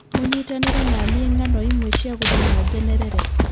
mũnyitanĩre na niĩ ng'ano imwe cia gũtũma ngenerere